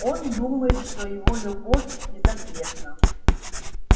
он думает что его любовь безответна